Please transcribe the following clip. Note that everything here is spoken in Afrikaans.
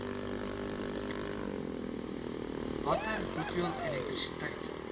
watter hoeveel elektrisiteit